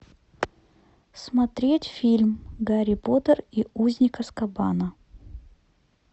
смотреть фильм гарри поттер и узник азкабана